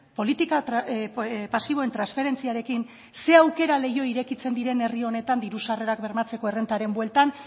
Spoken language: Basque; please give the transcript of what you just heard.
zer aukera leiho irekitzen diren herri honetan diru sarrerak bermatzeko errentaren bueltan